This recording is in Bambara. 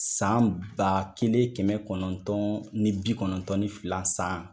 San ba kelen kɛmɛ kɔnɔntɔn ni bi kɔnɔn tɔn ni fila san